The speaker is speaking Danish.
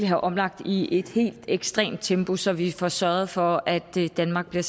have omlagt i et helt ekstremt tempo så vi får sørget for at danmark bliver